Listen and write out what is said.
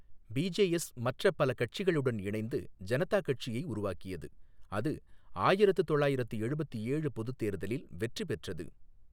BJS மற்ற பல கட்சிகளுடன் இணைந்து ஜனதா கட்சியை உருவாக்கியது, அது ஆயிரத்து தொள்ளாயிரத்து எழுபத்து ஏழு பொதுத் தேர்தலில் வெற்றி பெற்றது.